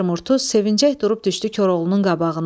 Mehdər Murtuz sevinəcək durub düşdü Koroğlunun qabağına.